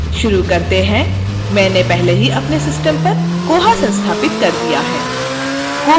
शुरू करते हैं मैंने पहले ही अपने system पर koha संस्थापित कर दिया है